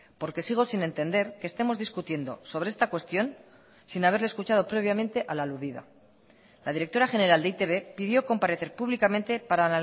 porque sigo sin entender que estemos discutiendo sobre esta cuestión sin haberle escuchado previamente a la aludida la directora general de e i te be pidió comparecer públicamente para